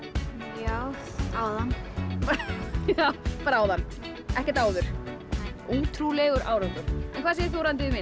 já áðan bara áðan ekkert áður nei ótrúlegur árangur en hvað segir þú